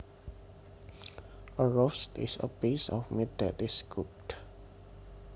A roast is a piece of meat that is cooked